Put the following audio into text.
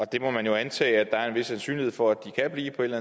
det må man jo antage at der er en vis sandsynlighed for at de kan blive på et